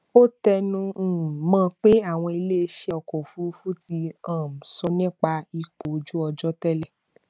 ó tẹnu um mọ pé àwọn iléiṣẹ ọkọ òfurufú ti um sọ nípa ipò ojú ọjọ tẹlẹ